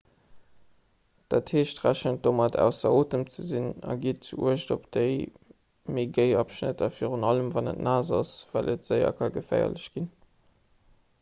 dat heescht rechent domat ausser otem ze sinn a gitt uecht op déi méi géi abschnitter virun allem wann et naass ass well et séier geféierlech ka ginn